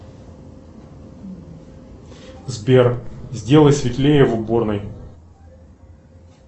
сбер сделай светлее в уборной